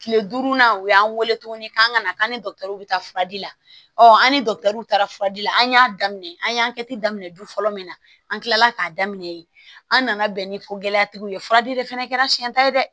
Kile duuru na u y'an weele tuguni k'an kana fura di ɔ an ni w taara fura di an y'a daminɛ an y'an kɛ te daminɛ du fɔlɔ min na an kilala k'a daminɛ yen an nana bɛn ni ko gɛlɛya tigiw ye furadi de fana kɛra siyɛn ta ye dɛ